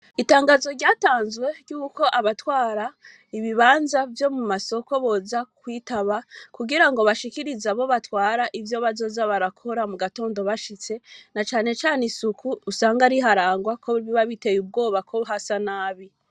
Itangazo ryatanzwe ryuko abatwara ibibanza vyo mu masoko boza kwitaba, Kugira bashikirize abo batwara ivyo bazoza barakora mugatondo bashitse, na cane cane isuko usanga riharangwa, kuko biba bitey'ubwoba ko hasa nabi.